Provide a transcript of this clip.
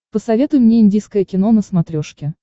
посоветуй мне индийское кино на смотрешке